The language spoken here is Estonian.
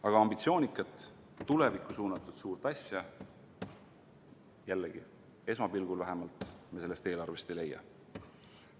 Aga ambitsioonikat, tulevikku suunatud suurt asja, jällegi, vähemalt esmapilgul me sellest eelarvest ei leia.